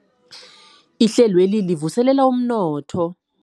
Ihlelweli livuselela amandla womnotho